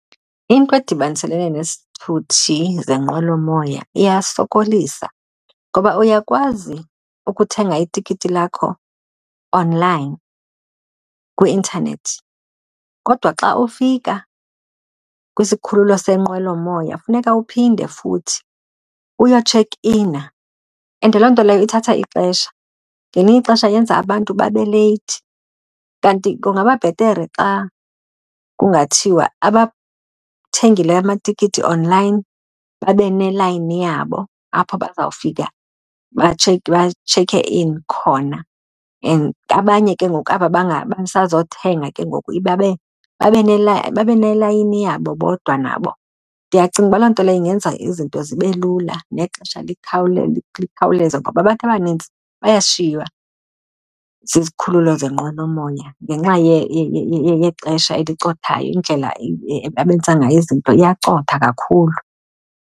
Into edibaniselene nesithuthi zenqwelomoya iyasokolisa ngoba uyakwazi ukuthenga itikiti lakho online kwi-intanethi kodwa xa ufika kwisikhululo senqwelomoya, funeka uphinde futhi uyotshekh ina and loo nto leyo ithatha ixesha. Ngelinye ixesha yenza abantu babe leyithi. Kanti kungaba bhetere xa kungathiwa abathengileyo amatikiti online babe nelayini yabo apho bazawufika batshekhe in khona And abanye ke ngoku aba basazothenga ke ngoku babe babe babe nelayini yabo bodwa nabo. Ndiyacinga uba loo nto leyo ingenza izinto zibe lula nexesha likhawuleze ngoba abantu abanintsi bayashiywa zizikhululo zenqwelomoya ngenxa yexesha elicothayo. Indlela abenza ngayo izinto iyacotha kakhulu.